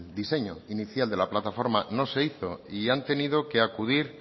diseño inicial de la plataforma no se hizo y han tenido que acudir